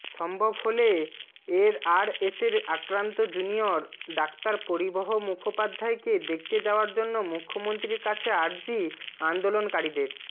সম্ভব হলে এরআরএসের আক্রান্ত জুনিয়র ডাক্তার পরিবহ মুখোপাধ্যায়কে দেখতে যাওয়ার জন্য মুখ্যমন্ত্রীর কাছে আর্জি আন্দোলনকারীদের